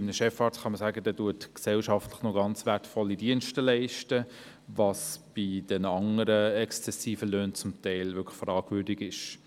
Bei einem Chefarzt lässt sich sagen, er leiste zumindest gesellschaftlich ganz wertvolle Dienste, was im Zusammenhang mit den anderen exzessiven Löhnen teils tatsächlich fraglich ist.